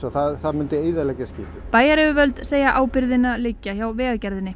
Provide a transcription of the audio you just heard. það myndi eyðileggja skipið bæjaryfirvöld segja ábyrgðina liggja hjá Vegagerðinni